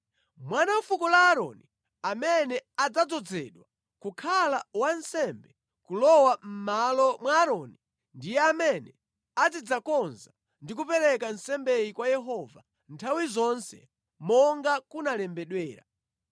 Mwana wa fuko la Aaroni amene adzadzozedwe kukhala wansembe kulowa mʼmalo mwa Aaroni ndiye amene azidzakonza ndi kupereka nsembeyi kwa Yehova nthawi zonse monga kunalembedwera.